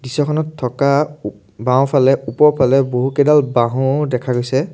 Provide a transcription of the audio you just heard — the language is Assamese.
দৃশ্যখনত থকা ওম বাওঁফালে ওপৰৰ ফালে বহুকেইডাল বাঁহো দেখা গৈছে।